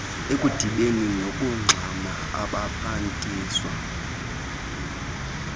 okudibene nokungxama abaphathiswa